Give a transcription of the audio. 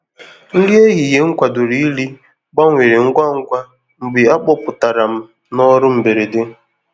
nri ehihie m kwadoro iri gbanwere ngwá ngwá mgbe a kpọpụtara m n’ọrụ mberede.